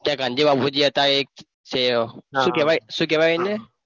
કયા ગાંધી બાપુજી હતા એક છે શું કહેવાય શું કહેવાય એને?